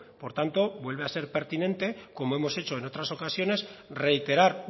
por tanto vuelve a ser pertinente como hemos hecho en otras ocasiones reiterar